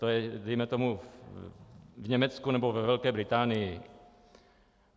To je dejme tomu v Německu nebo ve Velké Británii.